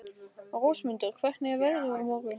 Rósmundur, hvernig er veðrið á morgun?